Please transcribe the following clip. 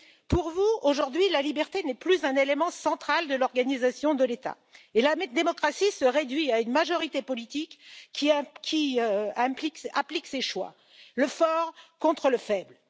Pour vous, aujourd'hui, la liberté n'est plus un élément central de l'organisation de l'État et la démocratie se réduit à une majorité politique qui applique ses choix, le fort contre le faible.